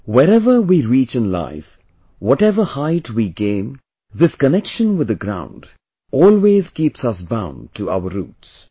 wherever we reach in life, whatever height we attain this connection with the ground, always, keeps us bound to our roots